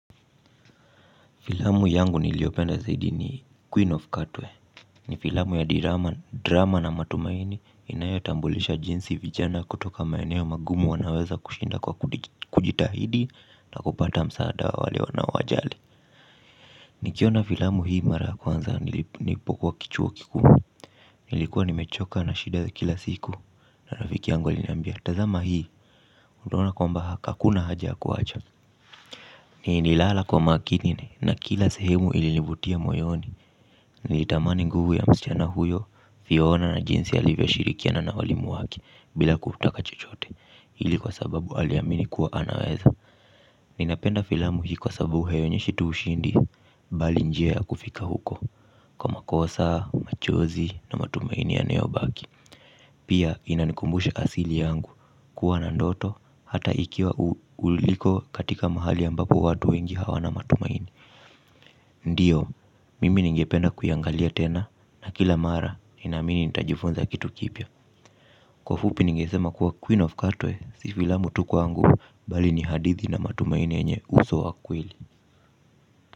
Filamu yangu niliyopenda zaidi ni Queen of Cartway. Ni filamu ya drama na matumaini inayotambulisha jinsi vijana kutoka maeneo magumu wanaweza kushinda kwa kujitahidi na kupata msaada wa wale wanaowajali. Nikiona filamu hii mara ya kwanza nilipokuwa kichuo kikuu. Nilikuwa nimechoka na shida za kila siku. Na rafiki yangu aliniambia tazama hii. Unaona kwamba ha kakuna haja kuwacha. Nililala kwa makini na kila sehemu ilinivutia moyoni. Nilitamani nguvu ya msichana huyo kuiona na jinsi alivyoshirikiana na walimu wake bila kutaka chochote ili kwa sababu aliamini kuwa anaweza. Ninapenda filamu hii kwa sababu haionyeshi tu ushindi bali njia ya kufika huko. Kwa makosa, machozi na matumaini yanayobaki. Pia inanikumbusha asili yangu kuwa na ndoto hata ikiwa uliko katika mahali ambapo watu wengi hawana matumaini ndiyo mimi ningependa kuiangalia tena na kila mara ninaamini nitajifunza kitu kipya kwa fupi ningesema kuwa queen of katoe si filamu tu kwangu bali ni hadithi na matumaini yenye uso wa kweli.